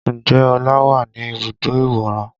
Ǹjẹ́ ọlá wà ní ibùdó ìwòran?